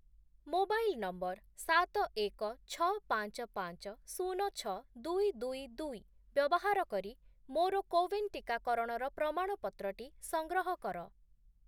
Mobile number ସାତ, ଏକ, ଛଅ, ପାଞ୍ଚ, ପାଞ୍ଚ, ଶୂନ, ଛଅ, ଦୁଇ, ଦୁଇ, ଦୁଇ ବ୍ୟବହାର କରି ମୋର କୋୱିନ୍ ଟିକାକରଣର ପ୍ରମାଣପତ୍ରଟି ସଂଗ୍ରହ କର ।